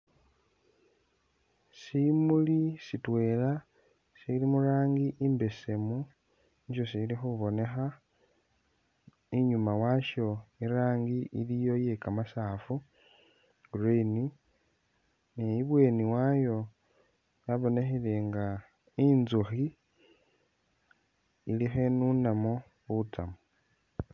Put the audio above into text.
Simuli sitwela sili murangi imbesemu nisyo sili khubonekha inyuma washo irangi iliyo iye kamasaafu green ni ibweni wayo wabonekhele nga inzukhi ili khenunamo butsamu